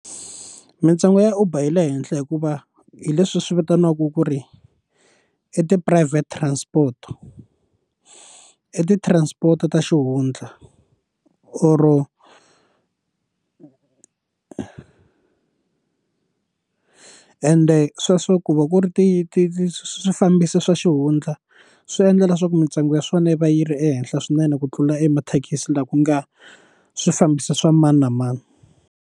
Mintsengo ya Uber yi le henhla hikuva hi leswi swi vitaniwaku ku ri i tiphurayivhete transport i ti-transport ta xihundla or ende sweswo ku va ku ri ti ti ti swifambisi swa xihundla swi endla leswaku mintsengo ya swona yi va yi ri ehenhla swinene ku tlula emathekisi laha ku nga swifambisi swa mani na mani.